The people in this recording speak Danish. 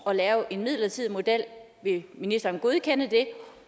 at lave en midlertidig model vil ministeren godkende den